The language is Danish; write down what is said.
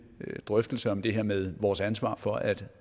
drøftelse om det her med vores ansvar for at